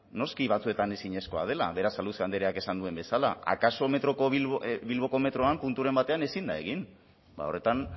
noski batzuetan ezinezkoa dela berasaluze andreak esan duen bezala akaso bilboko metroan punturen batean ezin da egin bada horretan